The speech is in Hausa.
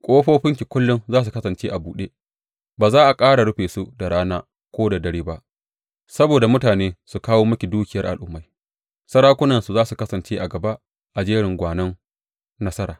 Ƙofofinki kullum za su kasance a buɗe, ba za a ƙara rufe su da rana ko da dare ba, saboda mutane su kawo miki dukiyar al’ummai, sarakunansu za su kasance a gaba a jerin gwanon nasara.